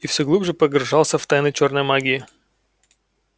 и все глубже погружался в тайны чёрной магии